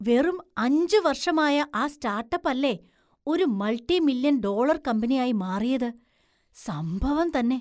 വെറും അഞ്ചു വര്‍ഷമായ ആ സ്റ്റാർട്ടപ്പ് അല്ലേ ഒരു മള്‍ടിമില്ല്യന്‍ ഡോളർ കമ്പനിയായി മാറിയത്; സംഭവം തന്നെ!